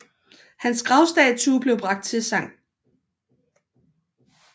Hans gravstatue blev bragt til St